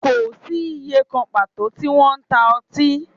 Kò sí ìyè kan pàtó tí wọ́n ń ta ọtí